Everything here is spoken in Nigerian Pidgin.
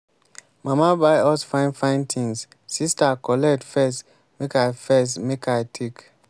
mama buy us fine fine thingssister collect first make i first make i take.